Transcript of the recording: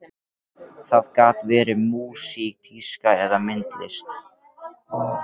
Það gat verið músík, tíska eða myndlist.